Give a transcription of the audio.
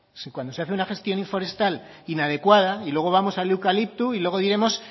si cuando usted hace una gestión forestal inadecuada y luego vamos al eucalipto y luego diremos